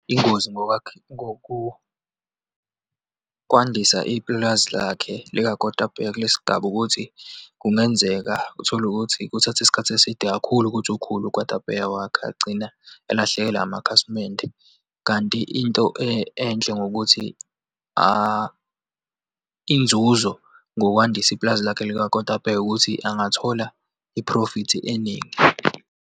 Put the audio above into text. Iyingozi ngoba ngokukwandisa ipulazi lakhe likakotapeya kulesigaba, ukuthi kungenzeka utholukuthi kuthathe isikhathi eside kakhulu ukuthi ukhule ukotapeya wakhe, agcina alahlekelwe amakhasimende. Kanti into enhle ngokuthi inzuzo, ngokwandisa ipulazi lakhe likakotapeya ukuthi, angathola iphrofithi eningi.